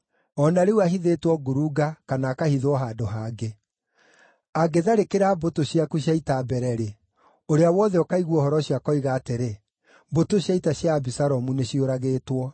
O na rĩu ahithĩtwo ngurunga kana akahithwo handũ hangĩ. Angĩtharĩkĩra mbũtũ ciaku cia ita mbere-rĩ, ũrĩa wothe ũkaigua ũhoro ũcio akoiga atĩrĩ, ‘Mbũtũ cia ita cia Abisalomu nĩciũragĩtwo.’